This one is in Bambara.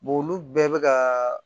olu bɛɛ bɛ ka